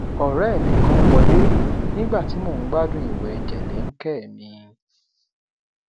ọrẹ mi kan wọlé nígbà tí mò ń gbádùn ìwẹ jẹlẹńkẹ mi